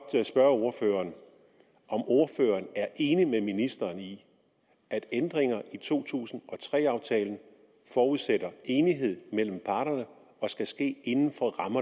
spørge ordføreren om ordføreren er enig med ministeren i at ændringer i to tusind og tre aftalen forudsætter enighed mellem parterne og skal ske inden